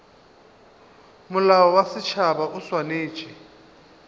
molao wa setšhaba o swanetše